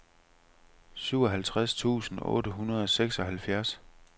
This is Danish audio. syvoghalvtreds tusind otte hundrede og seksoghalvfjerds